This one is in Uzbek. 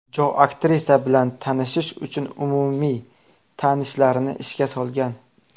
Jo aktrisa bilan tanishish uchun umumiy tanishlarini ishga solgan.